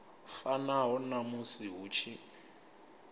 fanaho na musi hu tshi